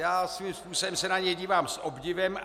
Já svým způsobem se na něj dívám s obdivem.